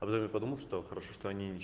потому что хорошо что